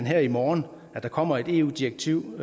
her i morgen kommer et eu direktiv